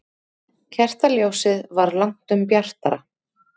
Kertaljósið var langtum bjartara.